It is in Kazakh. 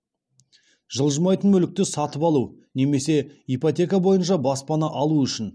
жылжымайтын мүлікті сатып алу немесе ипотека бойынша баспана алу үшін